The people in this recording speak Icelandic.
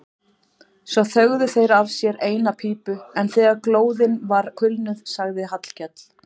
Svo þögðu þeir af sér eina pípu en þegar glóðin var kulnuð sagði Hallkell